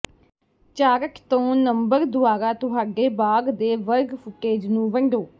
chart ਤੋਂ number ਦੁਆਰਾ ਤੁਹਾਡੇ ਬਾਗ ਦੇ ਵਰਗ ਫੁਟੇਜ ਨੂੰ ਵੰਡੋ